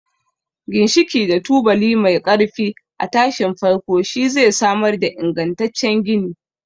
Ginshiki da tubali mai ƙarfi a tashin farko shi zai samar da ingantaccen gini.